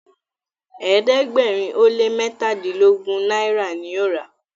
ẹ̀ẹ́dẹ̀gbẹ̀rin o lẹ mẹtadilogun náírà ní o rà.